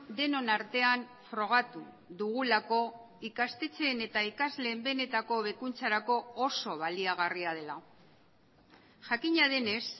denon artean frogatu dugulako ikastetxeen eta ikasleen benetako hobekuntzarako oso baliagarria dela jakina denez